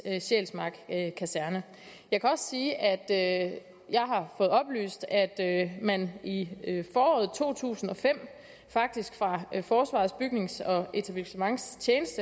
sjælsmark kaserne jeg kan også sige at at jeg har fået oplyst at man i foråret to tusind og fem faktisk fra forsvarets bygnings og etablissementstjenestes